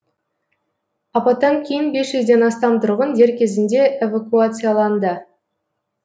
апаттан кейін бес жүзден астам тұрғын дер кезінде эвакуацияланды